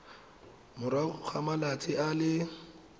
morago ga malatsi a le